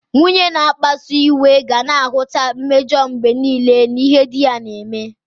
Nwunye na-akpasu iwe ga na-ahụta mmejọ mgbe nile n'ihe di ya na-eme.